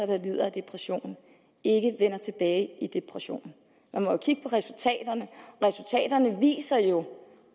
der lider af depression ikke vender tilbage i depression man må jo kigge på resultaterne viser jo